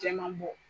Jɛman bɔ